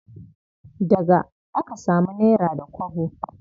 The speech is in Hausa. Daga aka samu nera da kwabo.